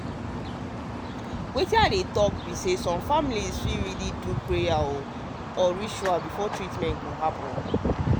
wetin i dey talk be say some families fit really wan do prayer or ritual before treatment go happen.